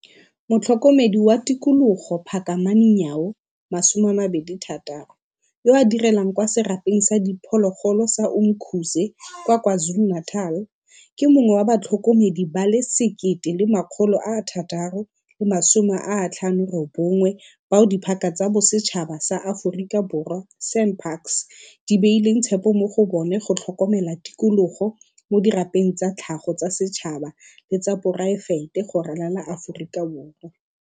Motlhokomedi wa Tikologo Phakamani Nyawo, 26, yo a direlang kwa Serapeng sa Diphologolo sa Umkhuze kwa KwaZulu-Natal, ke mongwe wa batlhokomedi ba le 1 659 bao Diphaka tsa Bosetšhaba tsa Aforika Borwa, SANParks, di beileng tshepo mo go bona go tlhokomela tikologo mo dirapeng tsa tlhago tsa setšhaba le tsa poraefete go ralala Aforika Borwa.